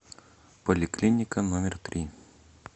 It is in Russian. поликлиника номер три